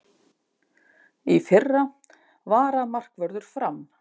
Í fyrra: Varamarkvörður Fram.